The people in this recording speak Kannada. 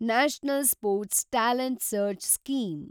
national sports talent search scheme